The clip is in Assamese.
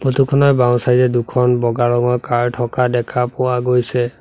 ফটো খনৰ বাওঁ চাইড এ দুখন বগা ৰঙৰ কাৰ থকা দেখা পোৱা গৈছে।